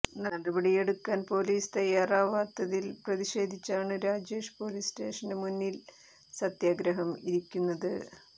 നടപടിയെടുക്കാൻ പൊലീസ് തയ്യാറാവത്തിൽ പ്രതിഷേധിച്ചാണ് രാജേഷ് പൊലീസ് സ്റ്റേഷന് മുന്നിൽ സത്യാഗ്രഹം ഇരിക്കുന്നത്